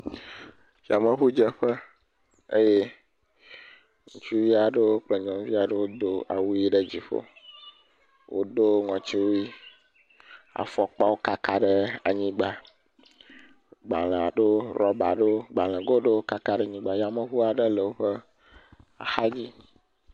Yameŋudze eye ŋutsuvi aɖewo kple nyɔnuwo aɖewo do awu yi ɖe dziƒo. Wodo ŋɔtiwui, afɔkpawo kaka ɖe anyigba, gbalẽ aɖewo, rɔba aɖewo, gbalẽgo ɖewo kaka ɖe anyigba, yameŋu aɖe le eƒe axadzi.